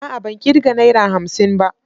A'a ban kirga Naira hamsin ba.